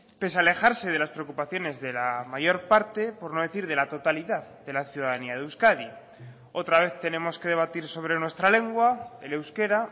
pese a alejarse de las preocupaciones de la mayor parte por no decir de la totalidad de la ciudadanía de euskadi otra vez tenemos que debatir sobre nuestra lengua el euskera